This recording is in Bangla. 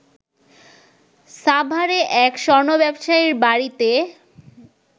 সাভারে এক স্বর্ণ ব্যবসায়ীর বাড়িতে